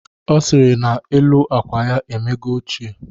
Ọ sịrị na elu akwa ya emego ochie